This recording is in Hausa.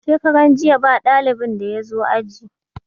Shekaran jiya ba dalibin da ya zo aji.